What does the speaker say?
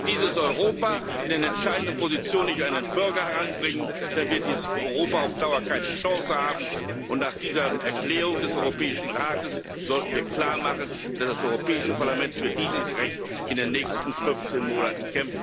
Wenn wir dieses Europa in den entscheidenden Positionen nicht an den Bürger heranbringen, dann wird dieses Europa auf Dauer keine Chance haben. Nach dieser Erklärung des Europäischen Rates sollten wir klarmachen, dass das Europäische Parlament in den nächsten fünfzehn Monaten